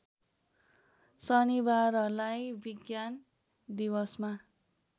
शनिबारलाई विज्ञान दिवसमा